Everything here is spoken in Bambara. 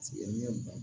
Sigi ni ba